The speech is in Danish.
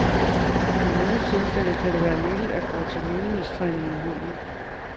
I nogle tilfælde kan det være nyttigt at gå til lydighedstræning med hunden.